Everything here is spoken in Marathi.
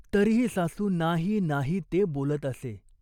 तरीही सासू नाही नाही ते बोलत असे.